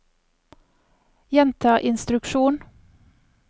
gjenta instruksjon